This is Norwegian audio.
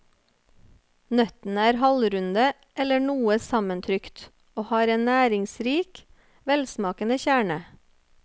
Nøttene er halvrunde eller noe sammentrykt, og har en næringsrik, velsmakende kjerne.